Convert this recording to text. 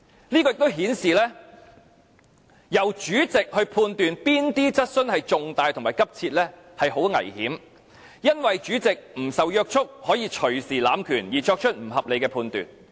這亦顯示，由主席判斷哪些質詢屬於與公眾有重大關係及性質急切是很危險的事，因為主席不受約束，可以動輒濫權而作出不合理判斷。